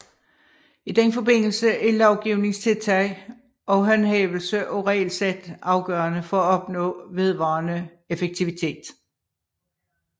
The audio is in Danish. I den forbindelse er lovgivningstiltag og håndhævelse af regelsæt afgørende for at opnå vedvarende effektivitet